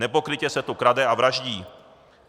Nepokrytě se tu krade a vraždí.